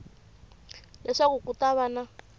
leswaku ku ta va na